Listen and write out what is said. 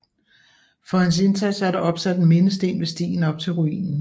For hans indsats er der opsat en mindesten ved stien op til ruinen